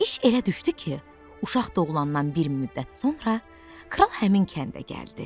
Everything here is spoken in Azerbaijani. İş elə düşdü ki, uşaq doğulandan bir müddət sonra kral həmin kəndə gəldi.